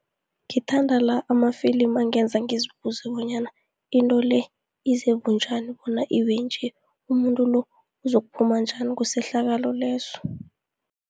Ngithanda la amafilimu angenza ngizibuze bonyana into le ize bunjani bona ibe nje, umuntu lo uzokuphuma njani kusehlakalo leso.